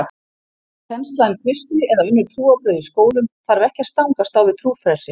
Kennsla um kristni eða önnur trúarbrögð í skólum þarf ekki að stangast á við trúfrelsi.